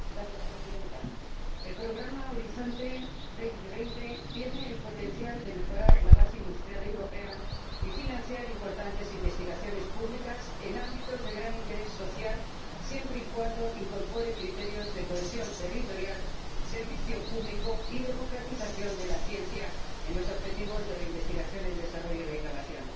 Señora Presidenta, el programa Horizonte 2020 tiene el potencial de mejorar la base industrial europea y financiar importantes investigaciones públicas en ámbitos de gran interés social, siempre y cuando incorpore criterios de cohesión territorial, servicio público y democratización de la ciencia en los objetivos de la investigación, el desarrollo y la innovación.